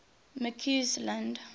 mccausland